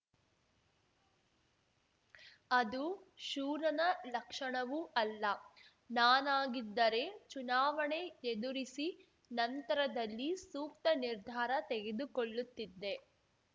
ಅದು ಶೂರನ ಲಕ್ಷಣವೂ ಅಲ್ಲ ನಾನಾಗಿದ್ದರೆ ಚುನಾವಣೆ ಎದುರಿಸಿ ನಂತರದಲ್ಲಿ ಸೂಕ್ತ ನಿರ್ಧಾರ ತೆಗೆದುಕೊಳ್ಳುತ್ತಿದ್ದೆ